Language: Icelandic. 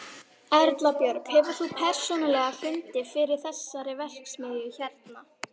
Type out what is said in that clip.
Erla Björg: Hefur þú persónulega fundið fyrir þessari verksmiðju hérna?